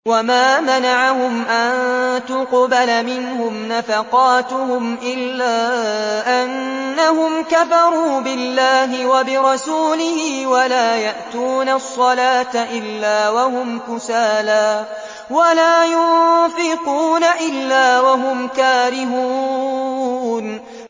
وَمَا مَنَعَهُمْ أَن تُقْبَلَ مِنْهُمْ نَفَقَاتُهُمْ إِلَّا أَنَّهُمْ كَفَرُوا بِاللَّهِ وَبِرَسُولِهِ وَلَا يَأْتُونَ الصَّلَاةَ إِلَّا وَهُمْ كُسَالَىٰ وَلَا يُنفِقُونَ إِلَّا وَهُمْ كَارِهُونَ